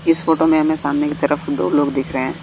इस फोटो में हमें सामने की तरफ दो लोग दिख रहे हैं।